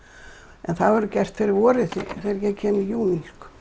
en það verður gert fyrir vorið þegar ég kem í júní